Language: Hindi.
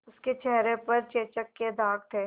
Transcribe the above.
उसके चेहरे पर चेचक के दाग थे